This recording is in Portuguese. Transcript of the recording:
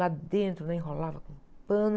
Lá dentro, ela enrolava com pano.